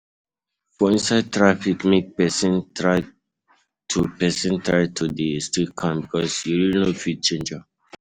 For inside traffic make persin try to de stay calm because you really no fit change am